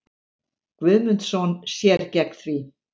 Guðmundsson sér gegn því.